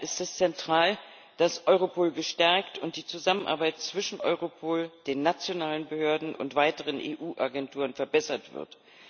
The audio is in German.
Daher ist es zentral, dass Europol gestärkt und die Zusammenarbeit zwischen Europol, den nationalen Behörden und weiteren EU-Agenturen verbessert wird.